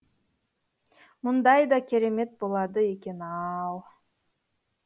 мұндай да керемет болады екен ау